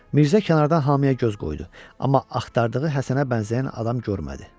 Mirzə kənardan hamıya göz qoydu, amma axtardığı Həsənə bənzəyən adam görmədi.